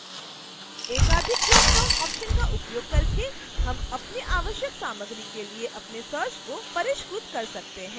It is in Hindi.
एकाधिक ड्रॉपडाउन ऑप्शन्स का उपयोग करके हम अपनी आवश्यक सामग्री के लिए अपने search को परिष्कृत कर सकते हैं